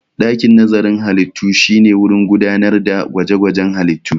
Dakin nazarin halittu shine wurin gudanar da gwaje-gwajen halittu.